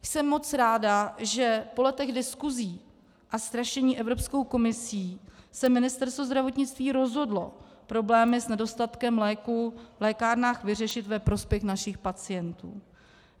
Jsem moc ráda, že po letech diskusí a strašení Evropskou komisí se Ministerstvo zdravotnictví rozhodlo problémy s nedostatkem léků v lékárnách vyřešit ve prospěch našich pacientů.